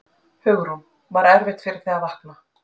Hugrún: Var erfitt fyrir þig að vakna?